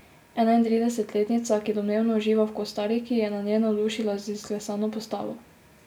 Enaintridesetletnica, ki domnevno uživa v Kostariki, je na njej navdušila z izklesano postavo.